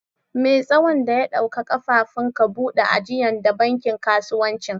Me' tsawon da ya ɗauka kafifin ka bude ajian de bankin kasuwancin??